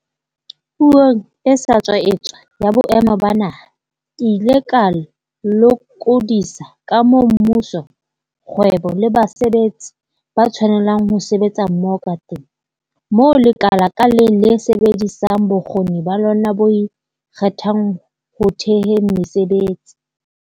Puong e sa tswa etswa ya Boemo ba Naha, ke ile ka lokodisa ka moo mmuso, kgwebo le basebetsi ba tshwanelang ho sebetsa mmoho kateng, moo lekala ka leng le sebedisang bokgoni ba lona bo ikgethang ho theheng mesebetsi.